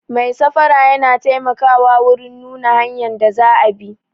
Mai safara yana taimakawa wurin nuna hanyan da za a bi